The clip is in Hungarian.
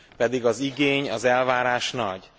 Pedig az igény, az elvárás nagy.